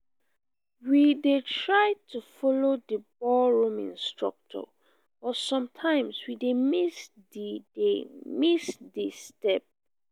we dey try to follow di ballroom instructor but sometimes we dey miss di dey miss di step.